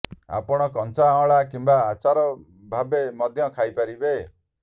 ଆପଣ କଞ୍ଚା ଅଁଳା କିମ୍ବା ଆଚାର ଭାବେ ମଧ୍ୟ ଖାଇପାରିବେ